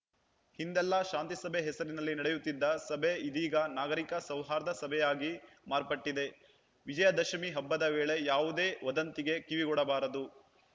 ಹಿಂದೆಲ್ಲಾ ಶಾಂತಿಸಭೆ ಹೆಸರಿನಲ್ಲಿ ನಡೆಯುತ್ತಿದ್ದ ಸಭೆ ಇದೀಗ ನಾಗರಿಕ ಸೌಹಾರ್ದ ಸಭೆಯಾಗಿ ಮಾರ್ಪಟ್ಟಿದೆ ವಿಜಯದಶಮಿ ಹಬ್ಬದ ವೇಳೆ ಯಾವುದೇ ವದಂತಿಗೆ ಕಿವಿಗೊಡಬಾರದು